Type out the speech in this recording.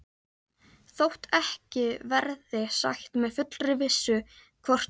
Þótt ekki verði sagt með fullri vissu, hvort þeir